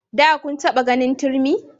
Da kun taba ganin turmi?